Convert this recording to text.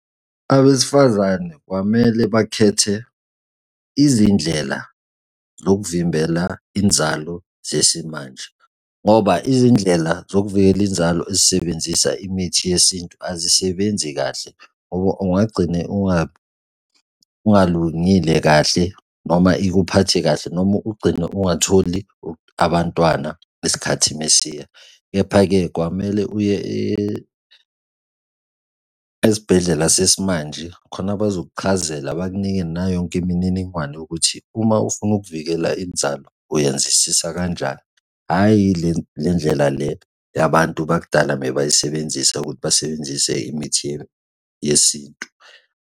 Abesifazane kwamele bakhethe izindlela zokuvimbela inzalo zesimanje, ngoba izindlela zokuvikela inzalo ezisebenzisa imithi yesintu azisebenzi kahle, ngoba ongagcine ungalungile kahle noma ikuphathe kahle noma ugcine ungatholi abantwana esikhathi esiya. Kepha-ke kwamele uye esibhedlela sesimanje khona bazokuchazela bakunike nayo yonke imininingwane yokuthi uma ufuna ukuvikela inzalo uyenzisisa kanjani, hhayi le ndlela le yabantu bakudala bebayisebenzisa ukuthi basebenzise imithi yesintu.